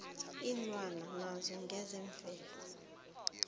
iinlwana naso ngesemvelo